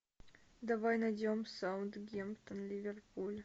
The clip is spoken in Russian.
давай найдем саутгемптон ливерпуль